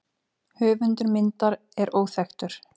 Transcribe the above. Höfundur myndar er óþekktur.